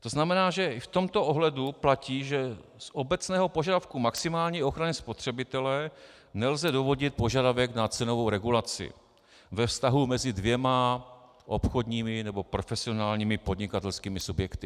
To znamená, že i v tomto ohledu platí, že z obecného požadavku maximální ochrany spotřebitele nelze dovodit požadavek na cenovou regulaci ve vztahu mezi dvěma obchodními nebo profesionálními podnikatelskými subjekty.